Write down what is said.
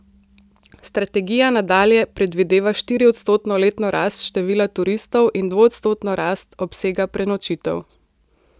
Strategija nadalje predvideva štiriodstotno letno rast števila turistov in dvoodstotno rast obsega prenočitev.